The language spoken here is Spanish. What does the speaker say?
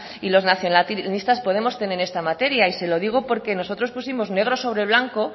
y los nacionalistas podemos tener en esta materia se lo digo porque nosotros pusimos negro sobre blanco